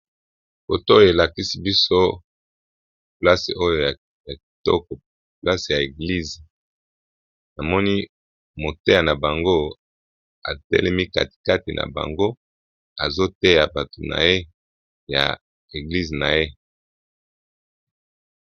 Foto oyo elakisi biso place oyo ya kitoko place ya eglize namoni moteya na bango atelemi katikati na bango azoteya bato naye ya eglize na ye.